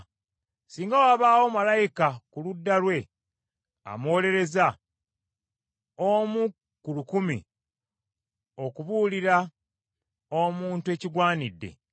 Singa wabaawo malayika ku ludda lwe, amuwolereza, omu ku lukumi, okubuulira omuntu ekigwanidde;